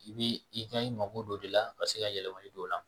I bi i ka i mako don o de la ka se ka yɛlɛmali don o la